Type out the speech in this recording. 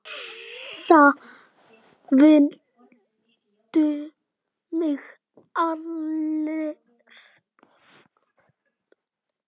Það vildu mig allir.